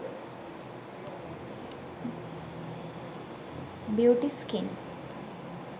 beauty skin